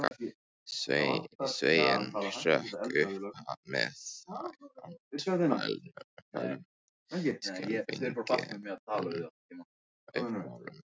Sveinn hrökk upp með andfælum, skelfingin uppmáluð.